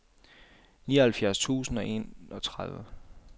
nioghalvfjerds tusind og enogtredive